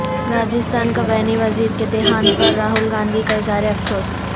راجستھان کابینی وزیر کے دیہانت پر راہول گاندھی کا اظہارافسوس